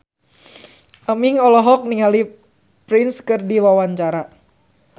Aming olohok ningali Prince keur diwawancara